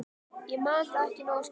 Ég man það ekki nógu skýrt.